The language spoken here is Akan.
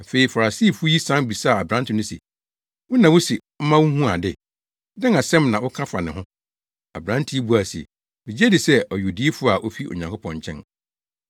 Afei Farisifo yi san bisaa aberante no se, “Wo na wuse ɔma wuhuu ade, dɛn asɛm na woka fa ne ho?” Aberante yi buae se, “Migye di sɛ ɔyɛ odiyifo a ofi Onyankopɔn nkyɛn.”